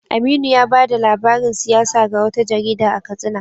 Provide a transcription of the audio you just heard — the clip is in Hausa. Aminu ya bada labarin siyasa ga wata jarida a Katsina.